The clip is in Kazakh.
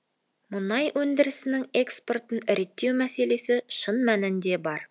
мұнай өндірісінің экспортын реттеу мәселесі шын мәнінде бар